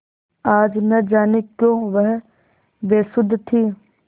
आज न जाने क्यों वह बेसुध थी